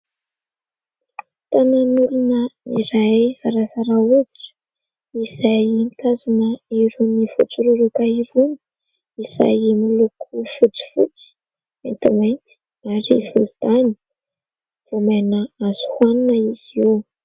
Tanan'olona iray zarazara hoditra izay mitazona irony voatsororoka irony izay miloko fotsifotsy, maintimainty ary volontany; voamaina azo hoanina izy io.